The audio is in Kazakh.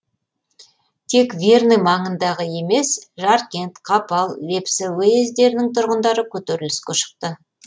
тек верный маңындағы емес жаркент қапал лепсі уездерінің тұрғындары көтеріліске шықты